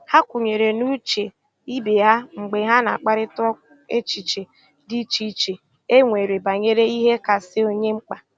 Ha kwenyere n' uche ibe ha mgbe ha na a kparịkọta echiche dị iche iche e e nwere banyere ihe kasị onye mkpa